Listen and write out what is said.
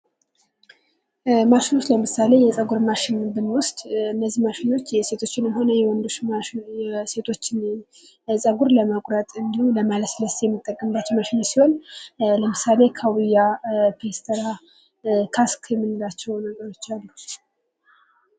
ማሽን ለምሳሌ የፀጉር ማሽን ብንወስድ እነዚህ ማሽኖች የሴቶችን ሆነ የወንዶች የሴቶች ጸጉር ለመቁረት እንዲሁም ለማለስለስ የሚንተቀምባቸው ማሽኖች ሲሆን ለምሳሌ ካውያ፣ ፒስትራ፣ ካስክል የምንላቸው ነገሮች አሉ።